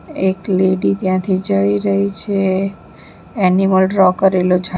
એક લેડી ત્યાંથી જઈ રહી છે એનિમલ ડ્રો કરેલું છા --